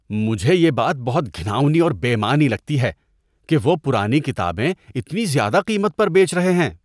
مجھے یہ بات بہت گھناؤنی اور بے معنی لگتی ہے کہ وہ پرانی کتابیں اتنی زیادہ قیمت پر بیچ رہے ہیں۔